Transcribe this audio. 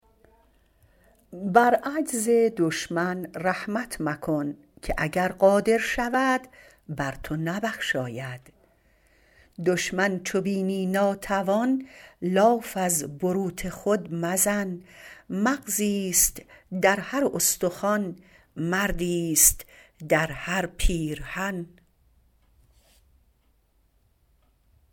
بر عجز دشمن رحمت مکن که اگر قادر شود بر تو نبخشاید دشمن چو بینی ناتوان لاف از بروت خود مزن مغزیست در هر استخوان مردیست در هر پیرهن